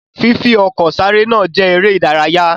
Fifi ọkọ̀ sáré náà jẹ eré ìdárayá.